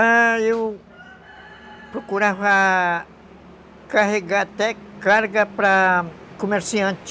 Ah, eu procurava carregar até carga para comerciante.